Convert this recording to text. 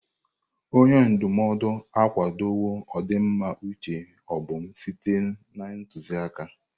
Onye ndụmọdụ akwadowo ọdịmma uche Obum site na ntụzịaka.